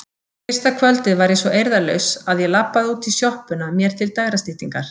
Fyrsta kvöldið var ég svo eirðarlaus að ég labbaði út í sjoppuna mér til dægrastyttingar.